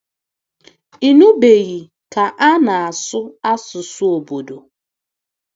Ị nụbeghị ka a na-asụ asụsụ obodo.